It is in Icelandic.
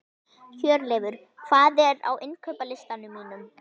Hjörleifur, hvað er á innkaupalistanum mínum?